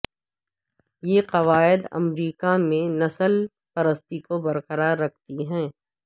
یہ قواعد امریکہ میں نسل پرستی کو برقرار رکھتی ہیں